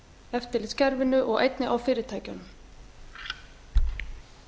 eftirlitskerfinu og einnig á fyrirtækjunum ég held